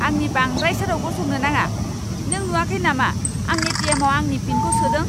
आंनि बांद्राइ सेराव गसंनो नाङा। नों नुआखै नामा आं ए.टि.एम.आव आंनि पिनखौ सोदों?